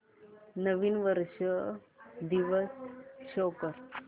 नवीन वर्ष दिवस शो कर